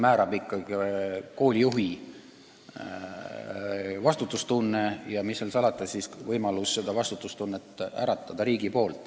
Määrav on ikkagi koolijuhi vastutustunne ja mis seal salata, hea oleks ka, kui riigil oleks võimalus seda vastutustunnet äratada.